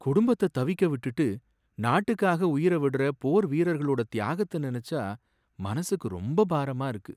குடும்பத்த தவிக்க விட்டுட்டு நாட்டுக்காக உயிரை விடுற போர் வீரர்களோட தியாகத்த நெனச்சா மனசுக்கு ரொம்ப பாரமா இருக்கு.